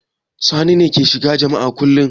Sani ne yake shiga jami'a kullum.